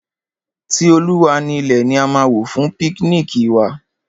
Ti Olúwa ni ilẹ̀ ni a máa wò fún píknìkì wa.